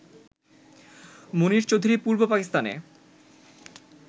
মুনীর চৌধুরী পূর্ব পাকিস্তানে